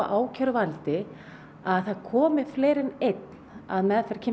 að það komi fleiri en einn að meðferð kynferðisbrotamála